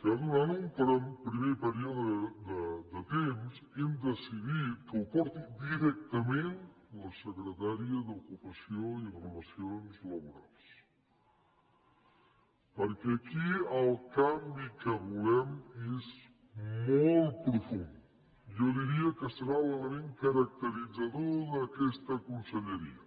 que durant un primer període de temps hem decidit que ho porti directament la secretària d’ocupació i relacions laborals perquè aquí el canvi que volem és molt profund jo diria que serà l’element caracteritzador d’aquesta conselleria